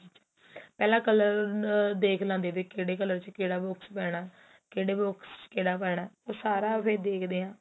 ਪਹਿਲਾਂ colour ਦੇਖ ਲੈਦੇ ਤੇ ਕਿਹੜਾ colour ਦੇ ਵਿੱਚ ਕਿਹੜਾ box ਪਹਿਣਾ ਕਿਹੜੇ box ਕਿਹੜਾ ਪਹਿਣਾ ਸਾਰਾ ਫ਼ਿਰ ਦੇਖਦੇ ਹਾਂ